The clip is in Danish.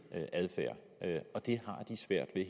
adfærd og det har de svært ved